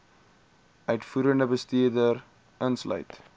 uitvoerende bestuur insluit